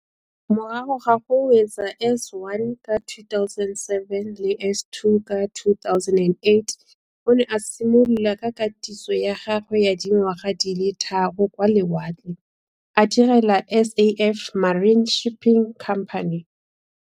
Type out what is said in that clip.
Morago ga go wetsa S1 ka 2007 le S2 ka 2008 o ne a simolola ka katiso ya gagwe ya dingwaga di le tharo kwa lewatleng, a direla Safmarine Shipping Company.